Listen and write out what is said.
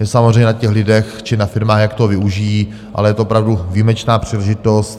Je samozřejmě na těch lidech či na firmách, jak toho využijí, ale je to opravdu výjimečná příležitost.